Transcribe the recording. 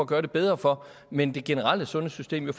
gøre det bedre for men det generelle sundhedssystem er